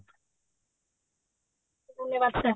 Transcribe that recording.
ଧନ୍ୟବାଦ sir